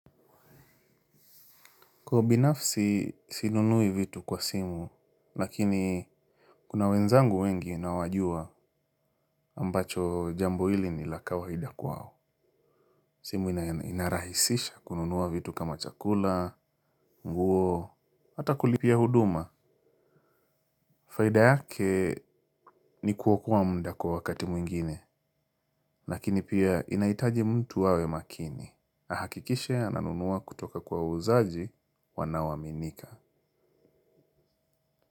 Kwa binafsi sinunui vitu kwa simu, lakini kuna wenzangu wengi nawajua ambacho jambo hili nila kawaida kwao. Simu inarahisisha kununua vitu kama chakula, nguo, hata kulipia huduma. Faida yake ni kuokoa muda kwa wakati mwingine, lakini pia inahitaji mtu awe makini. Ahakikishe ananunua kutoka kwa wauzaji wanao aminika.